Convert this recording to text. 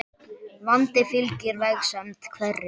Vandi fylgir vegsemd hverri.